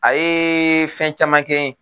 A ye fɛn caman kɛn ye.